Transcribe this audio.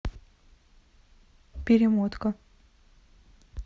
перемотка